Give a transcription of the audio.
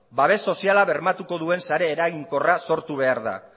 babes soziala bermatuko duen sare eraginkorra sortu behar da